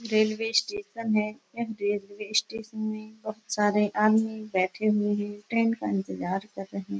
Railway station है। Railway station में बोहोत सारे आदमी बैठे हुए हैं। ट्रेन का इंतजार कर रहे --